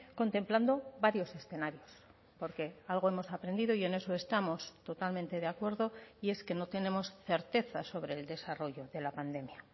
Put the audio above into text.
contemplando varios escenarios porque algo hemos aprendido y en eso estamos totalmente de acuerdo y es que no tenemos certeza sobre el desarrollo de la pandemia